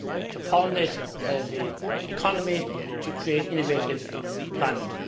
to pollinate the economy to create innovative employment.